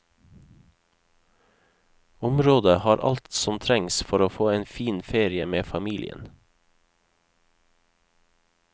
Området har alt som trengs for å få en fin ferie med familien.